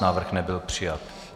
Návrh nebyl přijat.